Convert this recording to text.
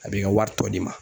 A b'i ka wari tɔ di ma.